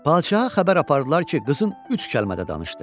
Padşaha xəbər apardılar ki, qızın üç kəlmə də danışdı.